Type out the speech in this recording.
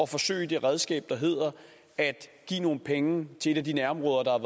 forsøge det redskab der hedder at give nogle penge til et af de nærområder der